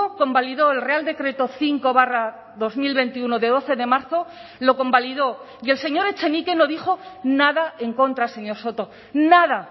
convalidó el real decreto cinco barra dos mil veintiuno de doce de marzo lo convalidó y el señor echenique no dijo nada en contra señor soto nada